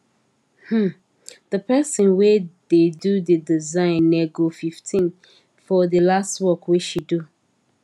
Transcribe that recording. um d person wey da do d design nego 15 for the last work wey she do